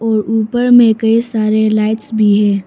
ऊपर में कई सारे लाइट्स भी है।